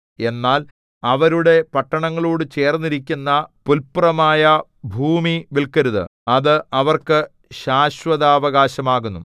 എന്നാൽ അവരുടെ പട്ടണങ്ങളോടു ചേർന്നിരിക്കുന്ന പുല്പുറമായ ഭൂമി വില്‍ക്കരുത് അത് അവർക്ക് ശാശ്വതാവകാശം ആകുന്നു